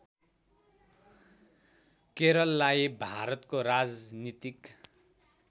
केरललाई भारतको राजनीतिक